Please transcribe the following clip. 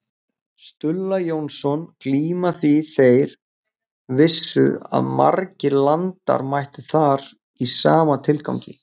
Stulla Jónsson glíma því þeir vissu að margir landar mættu þar í sama tilgangi.